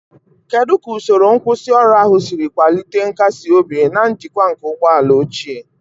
Kedu ka usoro nkwusioru ahụ siri kwalite nkasi obi na njikwa nke ụgbọ ala ochie?